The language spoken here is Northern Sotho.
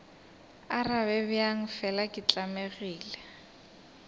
arabe bjang fela ke tlamegile